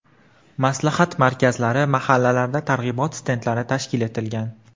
Maslahat markazlari, mahallalarda targ‘ibot stendlari tashkil etilgan.